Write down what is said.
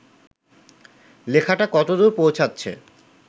লেখাটা কতদূর পৌঁছাচ্ছে